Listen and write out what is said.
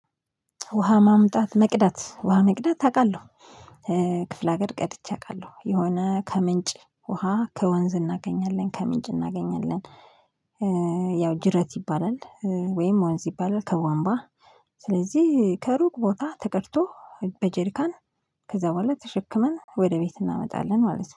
ውሃ ማምጣት መቅዳት ውሃ መቅዳት አውቃለሁ። ክፍለ ሀገር ቀድቼ አውቃለሁ የሆነ ከምንጭ ውሃ ከወንዝ እናገኛለን ከምንጭ እናገኛለን። ያው ጅረት ይባላል ወይም ወንዝ ይባላል። ከዋንባ ስለዚህ ከሩቅ ቦታ ተቀድቶ በጀሪካን ከዛ በኋላ ተሸክመን ወደ ቤት እናመጣለን ማለት ነው